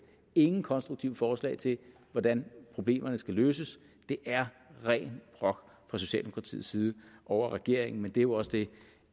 ingen konstruktive forslag til hvordan problemerne skal løses det er ren brok fra socialdemokratiets side over regeringen men det er jo også det